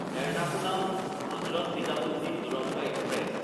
এৰনাকুলাম–হজৰত Nizamuddin Duronto express